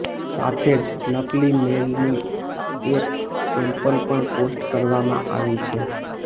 સાથે જ નકલી મેલની એક સેમ્પલ પણ પોસ્ટ કરવામાં આવી છે